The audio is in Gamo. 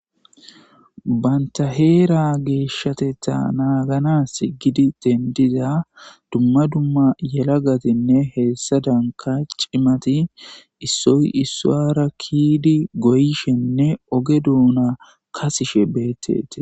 Banththa heeraa geeshshatheththaa naaganaassi giigidi denddida dzumma dzumma yelagathinne heessadankka cimathi issoy issuwaara kiyidi goyishenne oge doona kasishe beeththeththes.